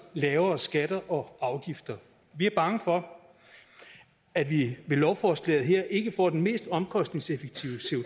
lavere skatter og afgifter vi er bange for at vi med lovforslaget her ikke får den mest omkostningseffektive